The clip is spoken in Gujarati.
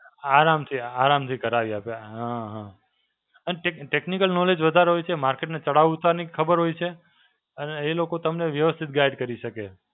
આરામથી આરામથી કરાવી આપે. હાં હાં, અને Tech Technical Knowledge વધારે હોય છે. market નાં ચડાવ ઉતારની ખબર હોય છે અને એ લોકો તમને વ્યવસ્થિત guide કરી શકે.